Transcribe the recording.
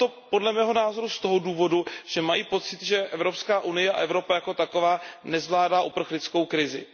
Podle mého názoru z toho důvodu, že mají pocit, že EU a Evropa jako taková nezvládají uprchlickou krizi.